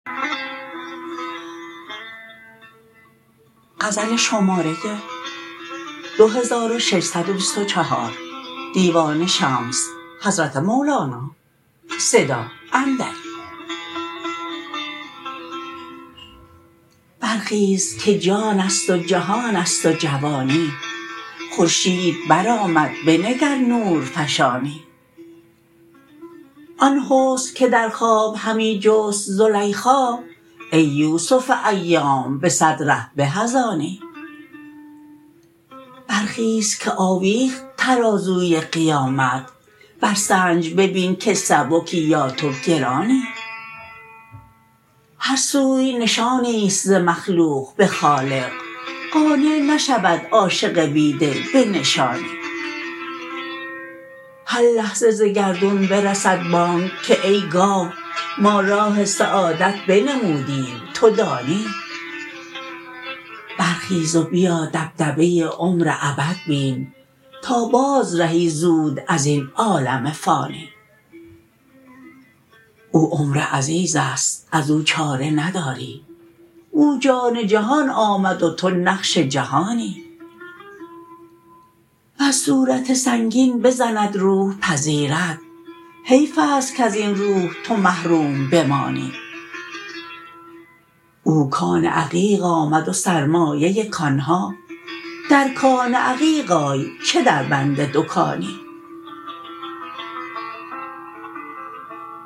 برخیز که جان است و جهان است و جوانی خورشید برآمد بنگر نورفشانی آن حسن که در خواب همی جست زلیخا ای یوسف ایام به صد ره به از آنی برخیز که آویخت ترازوی قیامت برسنج ببین که سبکی یا تو گرانی هر سوی نشانی است ز مخلوق به خالق قانع نشود عاشق بی دل به نشانی هر لحظه ز گردون برسد بانگ که ای گاو ما راه سعادت بنمودیم تو دانی برخیز و بیا دبدبه عمر ابد بین تا بازرهی زود از این عالم فانی او عمر عزیزی است از او چاره نداری او جان جهان آمد و تو نقش جهانی بر صورت سنگین بزند روح پذیرد حیف است کز این روح تو محروم بمانی او کان عقیق آمد و سرمایه کان ها در کان عقیق آی چه دربند دکانی